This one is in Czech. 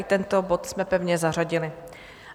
I tento bod jsme pevně zařadili.